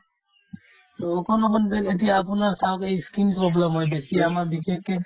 অকন অকন যে এতিয়া আপোনাৰ ছাগে ই skin problem হয় বেছি আমাৰ বিশেষকে